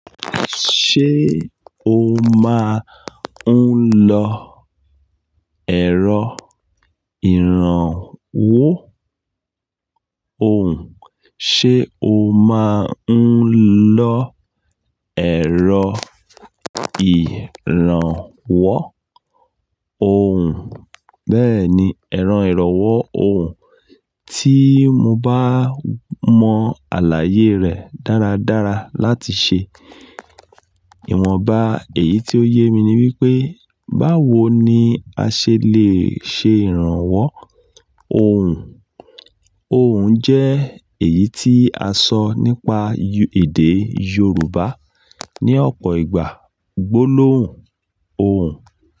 Ṣé o máa ń lọ ẹ̀rọ ìrànwọ́ ohùn? Ṣé o máa ń lọ ẹ̀rọ ìrànwọ́ òhùn? Bẹ́ẹ̀ni, ẹ̀rọ ìrànwọ́ ohùn tí mo bá mọ àlàyé rẹ̀ dáradára láti ṣe. Ìwọ̀nba èyí tí ó yé mi ni wípé báwo ni a ṣe le ṣe ìrànwọ́ ohùn? Ohùn jẹ́ èyí tí a sọ nípa èdè Yorùbá ní ọ̀pọ̀ ìgbà. Gbólóhùn ohùn.